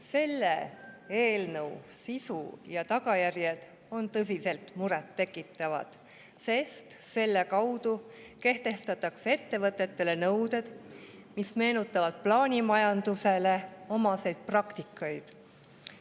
Selle eelnõu sisu ja tagajärjed on tõsiselt murettekitavad, sest selle kaudu kehtestatakse ettevõtetele nõuded, mis meenutavad plaanimajandusele omaseid praktikaid.